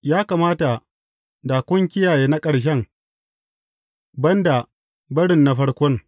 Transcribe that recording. Ya kamata da kun kiyaye na ƙarshen, ban ba barin na farkon.